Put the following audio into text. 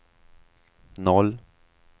noll